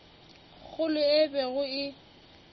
kgolo yeo e bego e